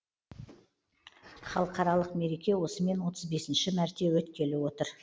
халықаралық мереке осымен отыз бесінші мәрте өткелі отыр